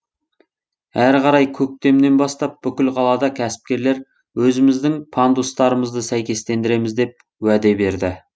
әрі қарай көктемнен бастап бүкіл қалада кәсіпкерлер өзіміздің пандустарымызды сәйкестендіреміз деп уәде берді